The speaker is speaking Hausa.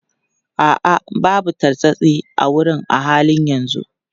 A'a, babu tartsatsi a wurin a halin yanzu.